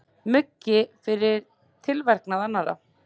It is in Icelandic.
Muggi fyrir tilverknað annarra.